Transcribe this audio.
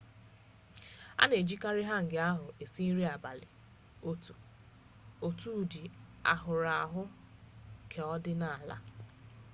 a na-ejikarị hangi ahụ isi nri abalị otu ụdị ahụrụahụ keọdịnala